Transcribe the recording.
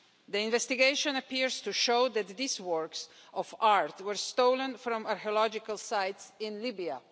The investigation appears to show that these works of art were stolen from archaeological sites in Libya.